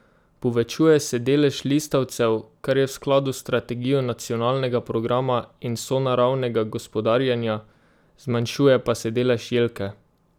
Povečuje se delež listavcev, kar je v skladu s strategijo nacionalnega programa in sonaravnega gospodarjenja, zmanjšuje pa se delež jelke.